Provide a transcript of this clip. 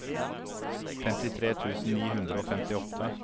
femtitre tusen ni hundre og femtiåtte